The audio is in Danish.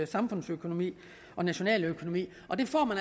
samfundsøkonomi og nationaløkonomi og det får man